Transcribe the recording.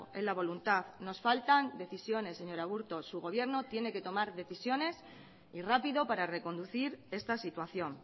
en la voluntad nos faltan decisiones señor aburto su gobierno tiene que tomar decisiones y rápido para reconducir esta situación